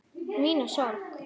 Mína sorg.